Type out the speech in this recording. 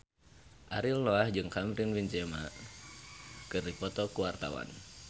Ariel Noah jeung Karim Benzema keur dipoto ku wartawan